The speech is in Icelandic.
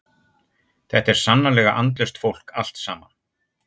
Þetta er sannarlega andlaust fólk allt saman.